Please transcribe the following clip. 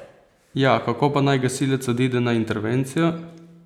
Ja, kako pa naj gasilec odide na intervencijo?